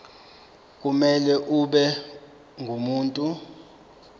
kumele abe ngumuntu